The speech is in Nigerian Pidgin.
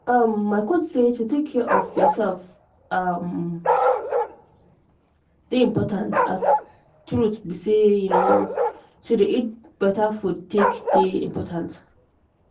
um my coach say to take care of yourself um dey important as truth be say um to dey eat better food take dey important